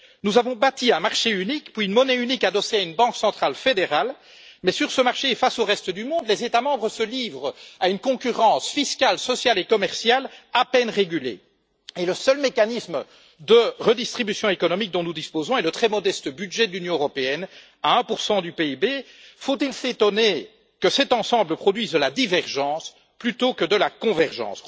Nous avons bâti un marché unique puis une monnaie unique adossée à une banque centrale fédérale, mais sur ce marché et face au reste du monde, les États membres se livrent à une concurrence fiscale, sociale et commerciale à peine régulée et le seul mécanisme de redistribution économique dont nous disposons est le très modeste budget de l'Union européenne, qui représente 1 du PIB. Faut il s'étonner que cet ensemble produise de la divergence plutôt que de la convergence?